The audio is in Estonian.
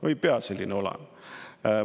No ei pea selline olema!